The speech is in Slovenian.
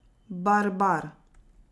Barbar.